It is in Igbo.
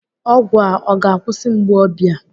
ọgwụ a ọ ga-akwụsị mgbu obi a?